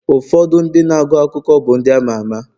ụfọdụ ndị na-agụ akụkọ bụ ndị ama ama